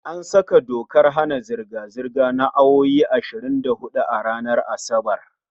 An saka dokar hana zirga-zirga na awowi ashirin da huɗu ranar Asabar